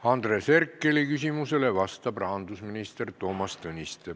Andres Herkeli küsimusele vastab rahandusminister Toomas Tõniste.